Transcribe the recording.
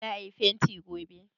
za a yi fenti gobe!